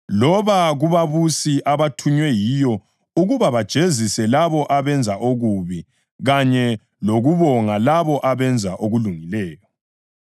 loba kubabusi abathunywe yiyo ukuba bajezise labo abenza okubi kanye lokubonga labo abenza okulungileyo.